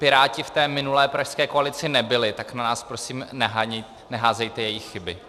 Piráti v té minulé pražské koalici nebyli, tak na nás prosím neházejte její chyby.